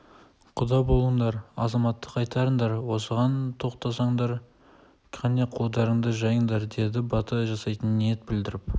құда болыңдар азаматты қайтарыңдар осыған тоқтасаңдар кәне қолдарыңды жайындар деді бата жасайтын ниет білдіріп